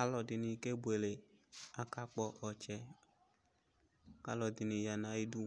Alʊ ɛdɩnɩ kebuele kʊ akakpɔ ɔtsɛ alʊ ɛdɩnɩ yanʊ ayʊ ɩdʊ